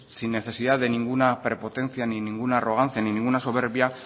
sin necesidad de ninguna prepotencia ni ninguna arrogancia ni ninguna soberbia